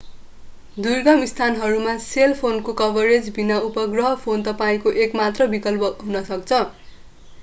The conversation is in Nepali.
दुर्गम स्थानहरूमा सेल फोनको कभरेज बिना उपग्रह फोन तपाईंको एक मात्र विकल्प हुन सक्छ